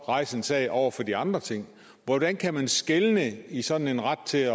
rejse en sag over for de andre ting hvordan kan man skelne i sådan en ret til